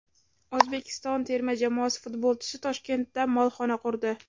O‘zbekiston terma jamoasi futbolchisi Toshkentda molxona qurdi.